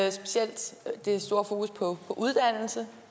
i specielt det store fokus på uddannelse